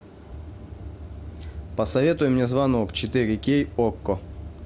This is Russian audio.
посоветуй мне звонок четыре кей окко